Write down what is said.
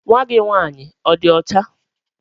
Nwa gị nwaanyị ọ dị ọcha?